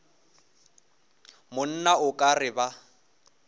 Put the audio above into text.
monna o ka re ba